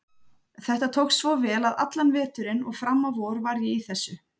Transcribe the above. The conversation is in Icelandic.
Þetta tókst svo vel að allan veturinn og fram á vor var ég í þessu.